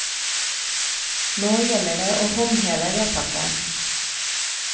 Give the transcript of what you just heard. Nå gjelder det å håndheve vedtaket.